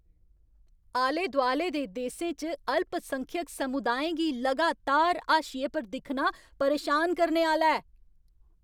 आले दोआले दे देसें च अल्पसंख्यक समुदाएं गी लगातार हाशिये पर दिक्खना परेशान करने आह्‌ला ऐ।